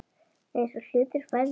Eins og hlutir færðust til.